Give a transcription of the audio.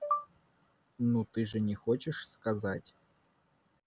ну ты же не хочешь сказать